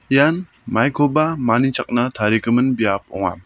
ian maikoba manichakna tarigimin biap ong·a.